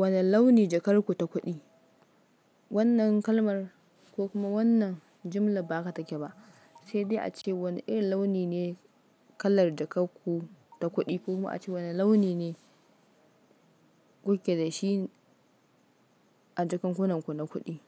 Wani launi jakar ku ta kuɗi? Wannan kalmar ko kuma wannan jumla ba ka take ba. Sai dai ace wani irin launi ne kalar jakar ku ta kuɗi ko kuma a ce wane launi ne kuke da shi a jakankunanku na kuɗi.